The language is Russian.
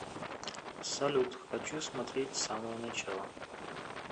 салют хочу смотреть с самого начала